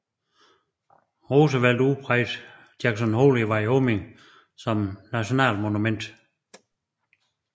Roosevelt udpegede Jackson Hole i Wyoming som National Monument